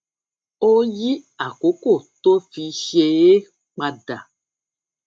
ó yí àkókò tó fi ṣe é padà